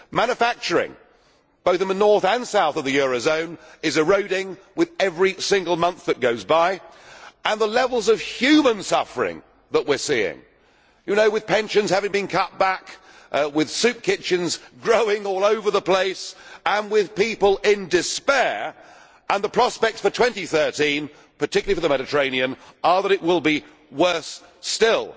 Manufacturing, both in the north and south of the eurozone, is eroding with every single month that goes by, and there are the levels of human suffering that we are seeing with pensions having been cut back, with soup kitchens growing all over the place, and with people in despair and the prospects for 2013, particularly for the Mediterranean, are that it will be worse still.